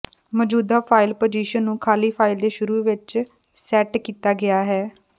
ਮੌਜੂਦਾ file position ਨੂੰ ਖਾਲੀ ਫਾਈਲ ਦੇ ਸ਼ੁਰੂ ਵਿੱਚ ਸੈਟ ਕੀਤਾ ਗਿਆ ਹੈ